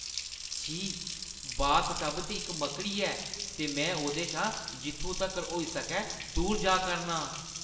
छी, बाथटब च इक मक्कड़ी ऐ ते में ओह्दे शा जित्थू तक्कर होई सकै दूर जा करना आं।